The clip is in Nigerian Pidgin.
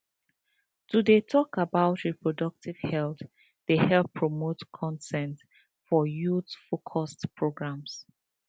to dey talk about reproductive health dey help promote consent for youthfocused programs